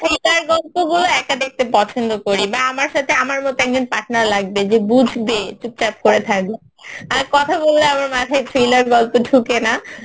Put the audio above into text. thriller গল্প গুলো পছন্দ করি না আমার সাথে আমার মতো একজন partner লাগবে যে বুঝবে চুপচাপ করে থাকবে আর কথা বললে আমার মাথায় thriller গল্প ঢোকে না